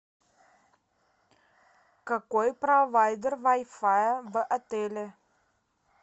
какой провайдер вай фая в отеле